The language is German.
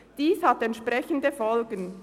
Dies hat entsprechende Folgen.